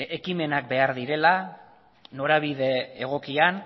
ekimenak behar direla norabide egokian